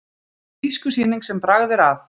Tískusýning sem bragð er að